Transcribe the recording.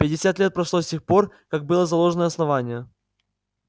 пятьдесят лет прошло с тех пор как было заложено основание